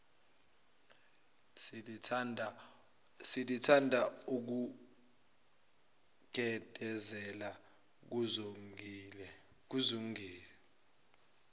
selithanda ukugedezela kuzongile